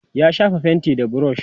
ya shafa fainti da burush